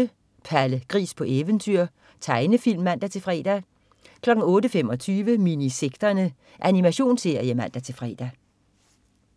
08.00 Palle Gris på eventyr. Tegnefilm (man-fre) 08.25 Minisekterne. Animationsserie (man-fre)